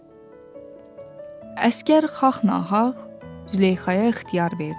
Əsgər Xaqnağa Züleyxaya ixtiyar verdi.